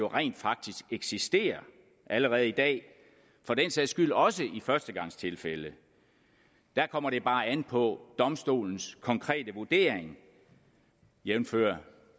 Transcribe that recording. rent faktisk eksisterer allerede i dag for den sags skyld også i førstegangstilfælde der kommer det bare an på domstolens konkrete vurdering jævnfør